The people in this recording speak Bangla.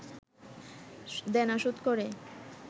দেনা শোধ করে